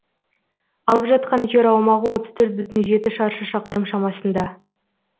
алып жатқан жер аумағы шаршы шақырым шамасында